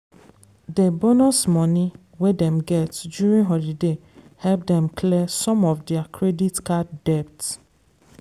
dey bonus money wey dem get during holiday help dem clear some of their credit card debt.